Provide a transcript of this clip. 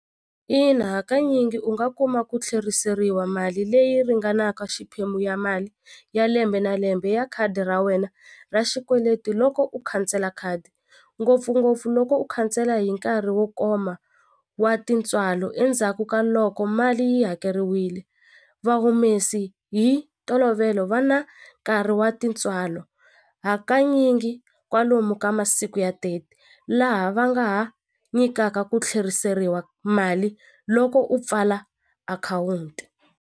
Ina hakanyingi u nga kuma ku tlheriseriwa mali leyi ringanaka xiphemu ya mali ya lembe na lembe ya khadi ra wena ra xikweleti loko u khansela khadi ngopfungopfu loko u khansela hi nkarhi wo koma wa tintswalo endzhaku ka loko mali yi hakeriwili va humesi hi ntolovelo va na nkarhi wa tintswalo hakanyingi kwalomu ka masiku ya thirty laha va nga ha nyikaka ku tlheriseriwa mali loko u pfala akhawunti.